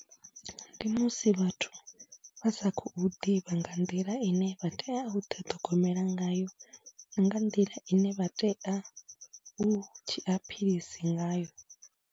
Ndi musi vhathu vha sa khou ḓivha nga nḓila ine vha tea u ḓi ṱhogomela ngayo na nga nḓila ine vha tea u zhiya philisi ngayo.